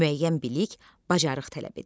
müəyyən bilik, bacarıq tələb edir.